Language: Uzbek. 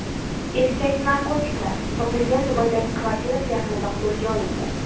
Erkak narkotiklar topilgan Dubaydagi kvartirasi yaqinida qo‘lga olindi.